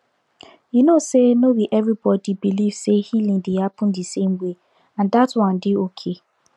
you know say no be everybody believe say healing dey happen the same way and dat one dey okay